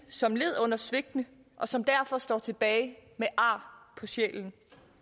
som led under svigtene og som derfor står tilbage med ar på sjælen